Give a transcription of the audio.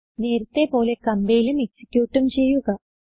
നേരത്തെ പോലെ കംപൈലും എക്സിക്യൂട്ടും ചെയ്യുക